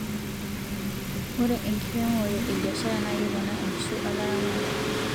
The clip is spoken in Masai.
ore enkiremore e biashara ya keponaa enkishui olaramata